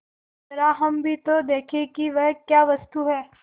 जरा हम भी तो देखें कि वह क्या वस्तु है